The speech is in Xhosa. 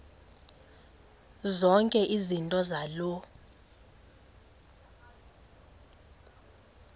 zonke izinto zaloo